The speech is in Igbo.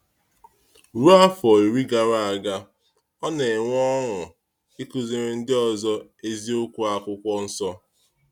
Ruo afọ iri gara aga, ọ na-enwe ọṅụ ịkụziri ndị ọzọ eziokwu Akwụkwọ Nsọ.